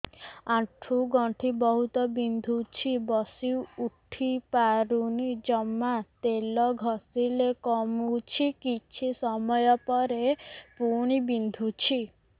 ଆଣ୍ଠୁଗଣ୍ଠି ବହୁତ ବିନ୍ଧୁଛି ବସିଉଠି ପାରୁନି ଜମା ତେଲ ଘଷିଲେ କମୁଛି କିଛି ସମୟ ପରେ ପୁଣି ବିନ୍ଧୁଛି